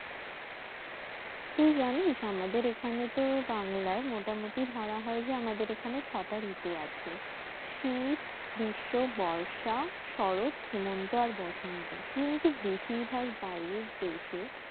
তুই জানিস আমাদের এখানে তো বাংলায় মোটামুটি ধরা হয় যে আমাদের এখানে ছটা ঋতু আছে শিত, গ্রীষ্ম, বর্ষা, শরৎ, হেমন্ত, আর বসন্ত কিন্তু বেশিরভাগ বাইরের দেশে